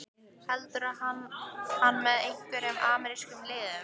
Heldur hann með einhverjum amerískum liðum?